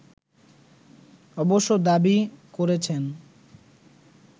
অবশ্য দাবি করেছেন